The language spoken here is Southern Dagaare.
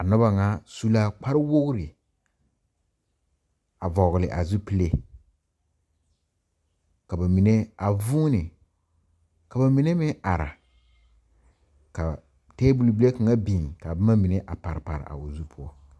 A noba ŋa su la kparewogri a vɔgle a zupile ka ba mine a vuuni ka ba mine meŋ are ka tabol bile kaŋa biŋ ka boma mine a pare pare a o zu poɔ.